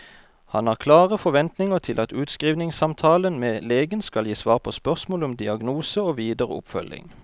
Han har klare forventninger til at utskrivningssamtalen med legen skal gi svar på spørsmål om diagnose og videre oppfølging.